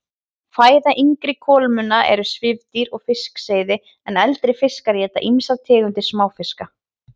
Fæða yngri kolmunna er svifdýr og fiskseiði en eldri fiskar éta ýmsar tegundir smáfiska.